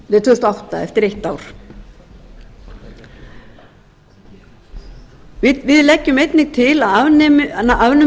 og átta eftir eitt ár fjórða við leggjum einnig til að